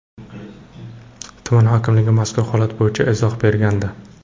Tuman hokimligi mazkur holat bo‘yicha izoh bergandi .